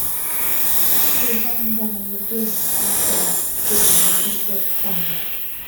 Tó o bá ń bá a lọ bẹ́ẹ̀, á dáa kó o lọ rí dókítà rẹ